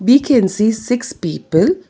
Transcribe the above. We can see six people.